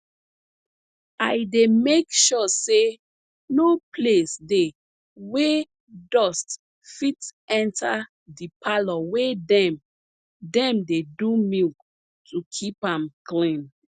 i dey make sure say no place dey wey dust fit enta de parlor wey dem dem dey do milk to keep am clean